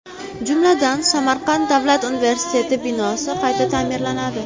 Jumladan, Samarqand davlat universiteti binosi qayta ta’mirlanadi.